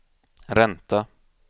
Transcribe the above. ränta